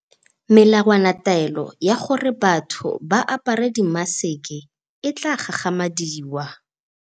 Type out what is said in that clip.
Melawanataolo ya gore batho ba apare dimaseke e tla gagamadiwa.